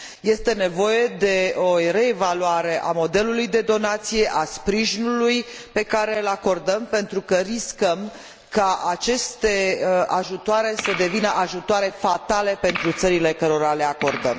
Este nevoie de o reevaluare a modelului de donație, a sprijinului pe care îl acordăm, pentru că riscăm ca aceste ajutoare să devină ajutoare fatale pentru țările cărora le acordăm.